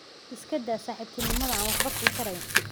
Iska daa saaxiibtinimada aan waxba ku tarayn